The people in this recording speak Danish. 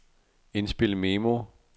indspil memo